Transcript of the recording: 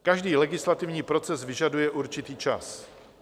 Každý legislativní proces vyžaduje určitý čas.